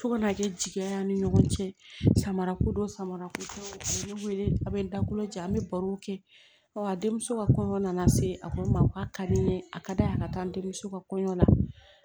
Fo ka na kɛ jigin an ni ɲɔgɔn cɛ samara ko don samara kodon a bɛ ne wele a bɛ n dakolo jɛ an bɛ barow kɛ ɔ a denmuso ka kɔɲɔ nana se a ko ma k'a ka di n ye a ka da a ka taa n denmuso ka kɔɲɔ la